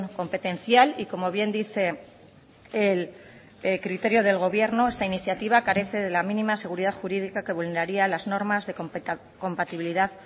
competencial y como bien dice el criterio del gobierno esta iniciativa carece de la mínima seguridad jurídica que vulneraría las normas de compatibilidad